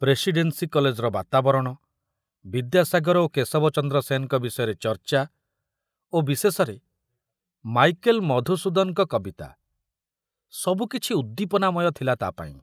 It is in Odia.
ପ୍ରେସିଡେନ୍ସି କଲେଜର ବାତାବରଣ, ବିଦ୍ୟାସାଗର ଓ କେଶବଚନ୍ଦ୍ର ସେନଙ୍କ ବିଷୟରେ ଚର୍ଚ୍ଚା ଓ ବିଶେଷରେ ମାଇକେଲ ମଧୁସୂଦନଙ୍କ କବିତା, ସବୁ କିଛି ଉଦ୍ଦୀପନାମୟ ଥିଲା ତା ପାଇଁ।